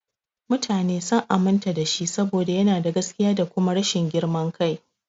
Mutane sun aminta da shi saboda yana da gaskiya da kuma rashin girman kai.